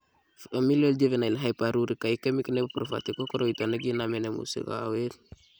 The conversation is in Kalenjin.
Familial juvenile hyperuricaemic nephropathy ko koroito nekinome nemusee koweet